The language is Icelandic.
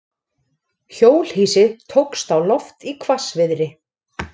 Hjólhýsi tókst á loft í hvassviðri